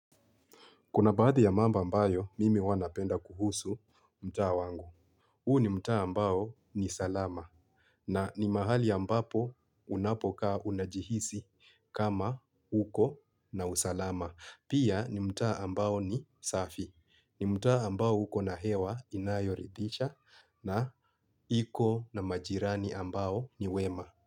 Kuna baadhi ya mambo ambayo, mimi huwa napenda kuhusu mtaa wangu. Huu ni mtaa ambao ni salama. Na ni mahali ambapo unapokaa unajihisi kama uko na usalama. Pia ni mta ambao ni safi. Ni mtaa ambao uko na hewa inayoridhisha na iko na majirani ambao ni wema.